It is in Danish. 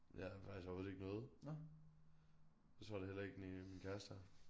Jeg har faktisk overhovedet ikke noget. Det tror jeg da heller ikke næ min kæreste har